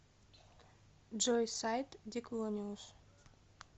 джой сайт диклониус